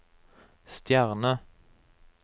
stjerne